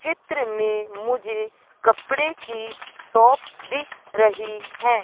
चित्र मे मुझे कपड़े की शॉप दिख रही है।